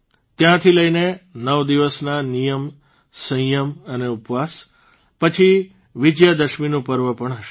ત્યાંથી લઇને નવ દિવસના નિયમ સંયમ અને ઉપવાસ પછી વિજયાદશમીનું પર્વ પણ હશે